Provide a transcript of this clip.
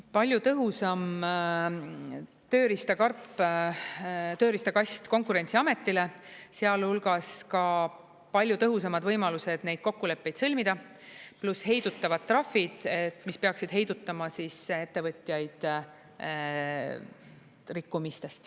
Palju tõhusam tööriistakarp, tööriistakast Konkurentsiametile, sealhulgas ka palju tõhusamad võimalused neid kokkuleppeid sõlmida pluss heidutavad trahvid, mis peaksid heidutama ettevõtjaid rikkumistest.